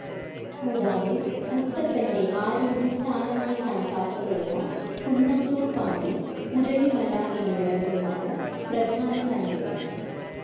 കൂടാതെ മുത്തപ്പന്റെ ആരൂഢ സ്ഥാനമായി കണക്കാക്കപ്പെടുന്ന കുന്നത്തൂർ പാടി, പുരളിമല എന്നിവിടങ്ങളുമാണ് പ്രധാന സങ്കേതങ്ങൾ.